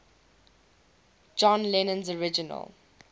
john lennon's original